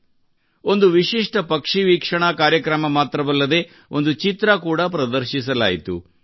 ಇಲ್ಲಿ ಒಂದು ವಿಶಿಷ್ಟ ಪಕ್ಷಿ ವೀಕ್ಷಣಾ ಕಾರ್ಯಕ್ರಮ ಮಾತ್ರವಲ್ಲದೇ ಒಂದು ಚಿತ್ರ ಕೂಡಾ ಪ್ರದರ್ಶಿಸಲಾಯಿತು